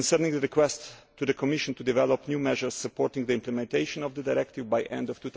the request to the Commission to develop new measures supporting the implementation of the directive by the end of